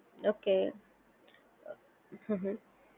okay hmm hmm